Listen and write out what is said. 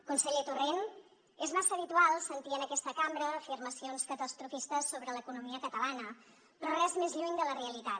conseller torrent és massa habitual sentir en aquesta cambra afirmacions catastrofistes sobre l’economia catalana però res més lluny de la realitat